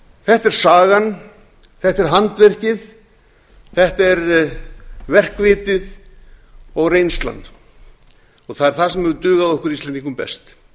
þetta er sagan þetta er handverkið þetta er verkvitið og reynslan það er það sem hefur dugað okkur íslendingum best